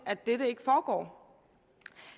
at dette ikke foregår